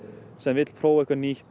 sem vill prófa eitthvað nýtt